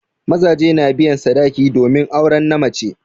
Mazaje na biyan sadaki domin auren na mace.